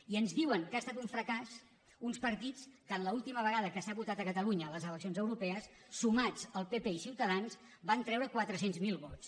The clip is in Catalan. i ens diuen que ha estat un fracàs uns partits que en l’última ve·gada que s’ha votat a catalunya a les eleccions eu·ropees sumats el pp i ciutadans van treure quatre cents miler vots